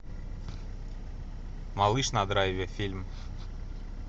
малыш на драйве фильм